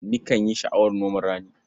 Nikan yi sha'awar noman rani.